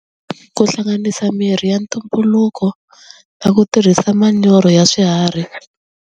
Ku hlanganisa mirhi ya ntumbuluko na ku tirhisa manyoro ya swiharhi.